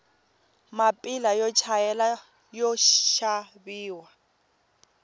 mapila yo chayela yoxaviwa